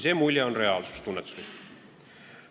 See on tunnetuslik reaalsus.